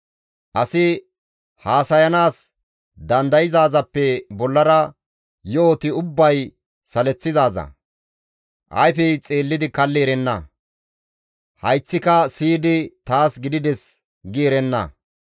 Asi haasayanaas dandayzaazappe bollara yo7oti ubbay saleththizaaza; ayfey xeellidi kalli erenna; hayththika siyidi, «Taas gidides» gi erenna.